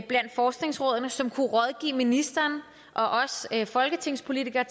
blandt forskningsrådene som kunne rådgive ministeren og os folketingspolitikere